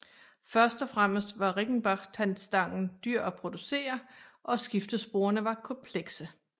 Først og fremmest var Riggenbach tandstangen dyr at producere og skiftesporene var komplekse